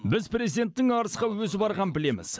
біз президенттің арысқа өзі барғанын білеміз